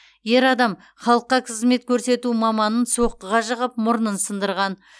ер адам халыққа қызмет көрсету маманын соққыға жығып мұрнын сындырған